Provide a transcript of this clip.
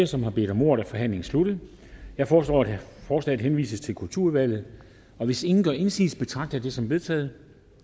som har bedt om ordet er forhandlingen sluttet jeg foreslår at forslaget henvises til kulturudvalget hvis ingen gør indsigelse betragter jeg det som vedtaget